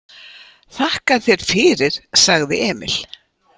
Þakka þér fyrir, sagði Emil.